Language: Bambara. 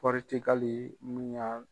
Pɔritigali mun ya